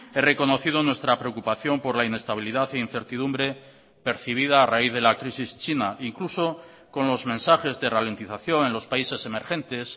he reconocido nuestra preocupación por la inestabilidad e incertidumbre percibida a raíz de la crisis china incluso con los mensajes de ralentización en los países emergentes